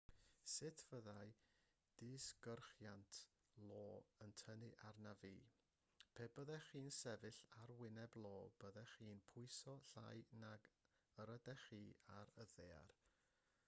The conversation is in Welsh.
sut fyddai disgyrchiant io yn tynnu arnaf fi pe byddech chi'n sefyll ar wyneb io byddech chi'n pwyso llai nag yr ydych chi ar y ddaear